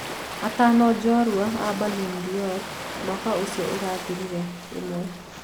Atano jorua a Ballon d'or mwaka ucio urathirire. Ĩmwe.